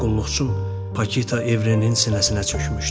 Mənim qulluqçum Pakita Evrenin sinəsinə çökmüşdü.